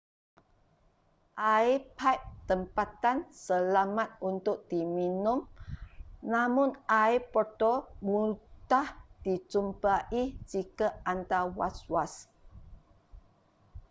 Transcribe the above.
air paip tempatan selamat untuk diminum namun air botol mudah dijumpai jika anda was-was